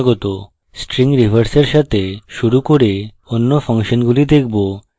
string reverse সাথে শুরু করে অন্য ফাংশনগুলি দেখব